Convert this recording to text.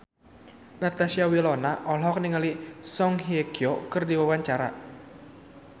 Natasha Wilona olohok ningali Song Hye Kyo keur diwawancara